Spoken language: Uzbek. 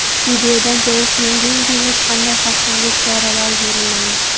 Videodan ko‘rish mumkinki, hech qanday xavfsizlik choralari ko‘rilmagan.